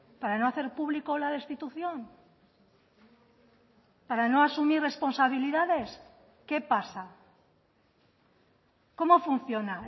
para no hacer público la destitución para no asumir responsabilidades qué pasa cómo funciona